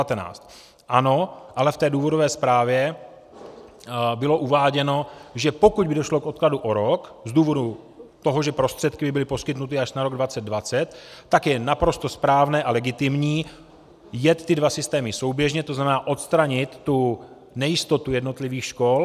Ano, ale v té důvodové zprávě bylo uváděno, že pokud by došlo k odkladu o rok z důvodu toho, že prostředky by byly poskytnuty až na rok 2020, tak je naprosto správné a legitimní jet ty dva systémy souběžně, to znamená odstranit tu nejistotu jednotlivých škol.